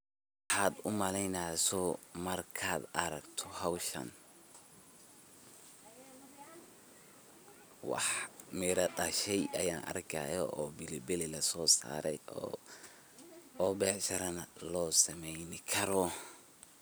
Maxaat u maleyneysah markat aragtoh hooshan, wax Meera dashay argayo oo [pilipili Kali laso saaray oo beeshara lo sameeynibkaroh.